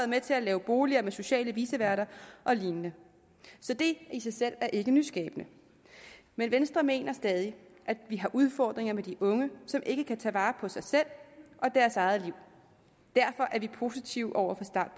med til at lave boliger med sociale viceværter og lignende så det i sig selv er ikke nyskabende men venstre mener stadig at vi har udfordringer med de unge som ikke kan tage vare på sig selv og deres eget liv derfor er vi positive over